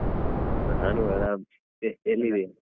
ನಾನು ಆರಾಮ್ ಮತ್ತೆ ಎಲ್ಲಿದ್ದೀಯಾ?